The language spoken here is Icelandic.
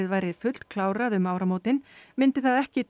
væri fullklárað um áramótin yrði það ekki